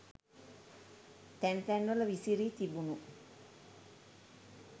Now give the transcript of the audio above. තැන් තැන්වල විසිරි තිබුණු